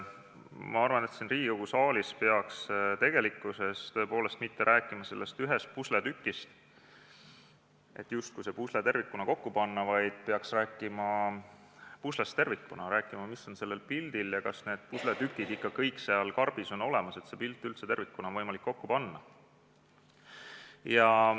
Ma arvan, et siin saalis ei peaks tegelikult rääkima mitte sellest ühest pusletükist, et justkui see pusle tervikuna kokku panna, vaid peaks rääkima puslest tervikuna – rääkima sellest, mis on pildil ja kas kõik pusletükid on ikka karbis olemas, et seda üldse tervikuna oleks võimalik kokku panna.